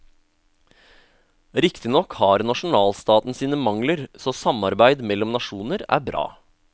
Riktignok har nasjonalstaten sine mangler, så samarbeid mellom nasjoner er bra.